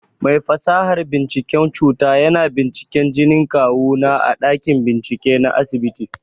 Mai fasahar binciken cuta yana binciken jinin kawu na a ɗakin bincike na asibiti.